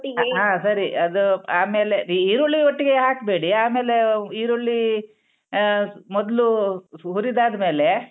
ಹಾ ಸರಿ ಅದು ಆಮೇಲೆ ಈರುಳ್ಳಿ ಒಟ್ಟಿಗೆ ಹಾಕ್ಬೇಡಿ ಆಮೇಲೆ ಈರುಳ್ಳೀ ಆ ಮೊದ್ಲೂ ಹುರಿದ್ ಆದ್ ಮೇಲೆ.